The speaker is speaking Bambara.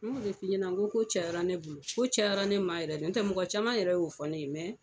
N y'o de f'i ɲɛna n ko ko cayara ne bolo, ko fagata ne, n tɛ mɔgɔ caman yɛrɛ y'o fɔnne ye, mɛ